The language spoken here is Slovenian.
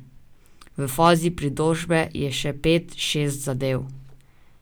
V fazi pritožbe je še pet, šest zadev.